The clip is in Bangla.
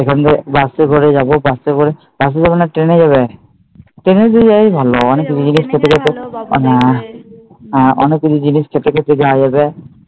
ওখান থেকে বাসে করে যাবো বাসে করে বাসে যাবো না ট্রেনে যাবে? ট্রেনে তো যাওয়াই ভালো হ্যাঁ অনেক কিছু জনিস খেতে খেতে যাওয়া যাবে।